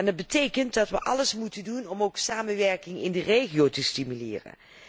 Dat betekent dat wij ook alles moeten doen om samenwerking in de regio te stimuleren.